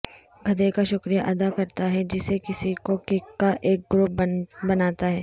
گدھے کا شکریہ ادا کرتا ہے جسے کسی کو کک کا ایک گروپ بناتا ہے